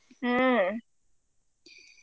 ಹ್ಮ.